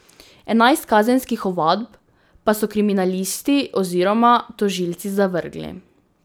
Enajst kazenskih ovadb pa so kriminalisti oziroma tožilci zavrgli.